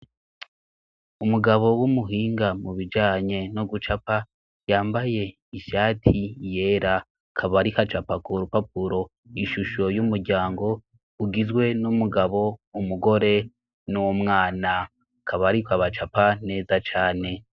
Umugabo w'umuhinga mu bijanye no gucapa yambaye ishati yera, akaba ariko acapa ku rupapuro ishusho y'umuryango ugizwe n'umugabo umugore n'umwana. Akaba ariko abacapa neza cane.